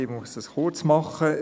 Ich muss es kurz machen.